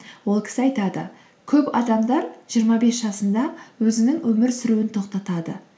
ол кісі айтады көп адамдар жиырма бес жасында өзінің өмір сүруін тоқтатады